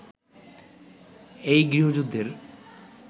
এই গৃহযুদ্ধের